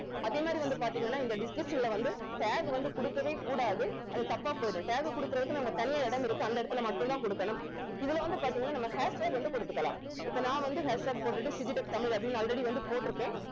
அதே மாதிரி வந்து பாத்தீங்கன்னா இந்த description ல வந்து tag வந்து குடுக்கவே கூடாது அது தப்பா போயிடும் tag குடுக்குறதுக்குன்னு அங்க தனியா இடம் இருக்கு அந்த இடத்தில மட்டும் தான் குடுக்கணும் இதுல வந்து பாத்தீங்கன்னா நம்ம hashtag வந்து குடுத்துக்கலாம் இப்ப நான் வந்து hashtag போட்டுட்டு டிஜிடெக் தமிழ் அப்படின்னு already வந்து போட்டிருக்கேன்